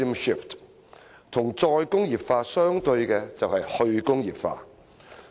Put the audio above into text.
與"再工業化"相對的就是"去工業化"。